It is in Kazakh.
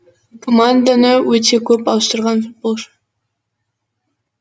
команданы өте көп ауыстырған футболшы